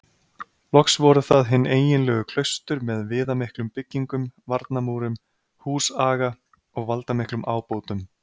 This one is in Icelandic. Loks voru það hin eiginlegu klaustur með viðamiklum byggingum, varnarmúrum, húsaga og valdamiklum ábótum.